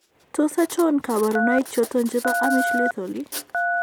Tos achon kabarunaik choton chebo Amish lethal ?